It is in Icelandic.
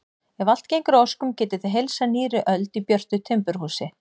Ef allt gengur að óskum getið þið heilsað nýrri öld í björtu timburhúsi.